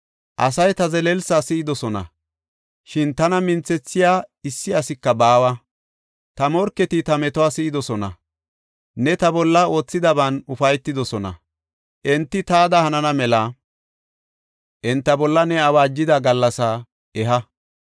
Asay ta zelelsa si7idosona; shin tana minthethiya issi asika baawa. Ta morketi ta metuwa si7idosona; ne ta bolla oothidaban ufaytidosona. Enti taada hanana mela, enta bolla ne awaajida gallasaa eha!